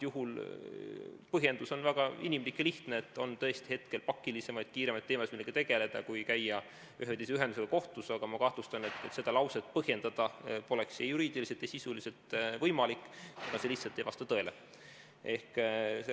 Põhjendus on praegu väga inimlik ja lihtne: tõesti on hetkel pakilisemaid, kiiremaid teemasid, millega tegelda, kui käia ühe või teise ühendusega kohut, aga ma kahtlustan, et seda lauset põhjendada poleks juriidiliselt ja sisuliselt võimalik, sest see lihtsalt ei vasta tõele.